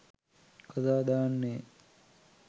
කතා දාන්නේ.